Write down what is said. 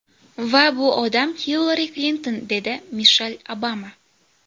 Va bu odam Hillari Klinton”, dedi Mishel Obama.